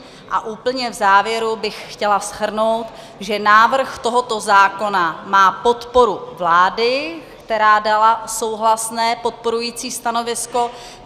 A úplně v závěru bych chtěla shrnout, že návrh tohoto zákona má podporu vlády, která dala souhlasné, podporující stanovisko.